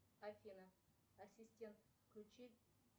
афина ассистент включи